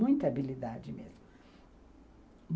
Muita habilidade mesmo.